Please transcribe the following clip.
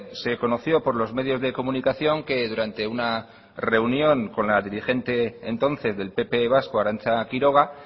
se conoció por los medios de comunicación que durante una reunión con la dirigente entonces del pp vasco arantza quiroga